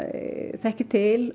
þekkir til